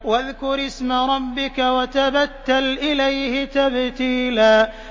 وَاذْكُرِ اسْمَ رَبِّكَ وَتَبَتَّلْ إِلَيْهِ تَبْتِيلًا